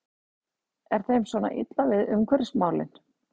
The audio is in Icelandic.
Er þeim svona illa við umhverfismálin?